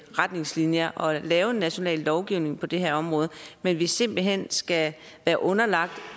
retningslinjer og lave en national lovgivning på det her område men at vi simpelt hen skal være underlagt